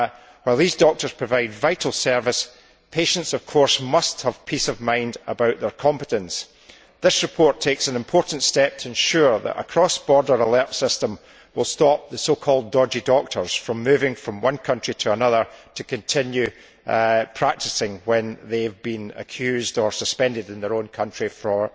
While these doctors provide a vital service, patients must, of course, have peace of mind about their competence. This report takes an important step towards ensuring that a cross border alert system will stop the so called dodgy' doctors from moving from one country to another to continue practising when they have been accused or suspended in their own country for